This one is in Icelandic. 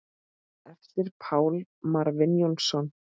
eftir Pál Marvin Jónsson